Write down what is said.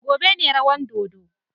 Gobe ne ta wan dodon.